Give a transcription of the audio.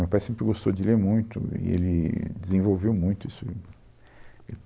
Meu pai sempre gostou de ler muito e ele desenvolveu muito isso